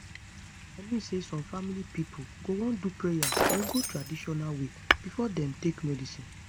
i mean say some family pipo go wan do prayer or go traditional way before dem take medicine